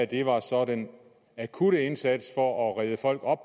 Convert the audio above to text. det var så den akutte indsats for at redde folk op